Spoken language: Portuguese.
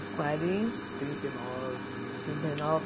Quarenta, trinta e nove, mais ou menos. Trinta e nove.